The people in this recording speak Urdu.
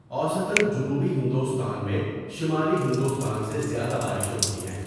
اوسطا جنوبی ہندوستان میں شمالی ہندوستان سے زیادہ بارشیں ہوتی ہیں۔